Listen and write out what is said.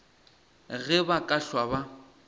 ge ba ka hlwa ba